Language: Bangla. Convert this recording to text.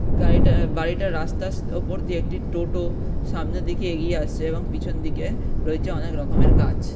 গাড়িটা বাড়িটার রাস্তার স ওপর দিয়ে একটি টোটো সামনে দিক এগিয়ে আসছে এবং পিছনে দিকে রয়েছে অনেকরকমের গাছ।